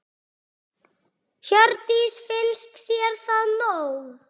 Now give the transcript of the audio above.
Hjördís: Finnst þér það nóg?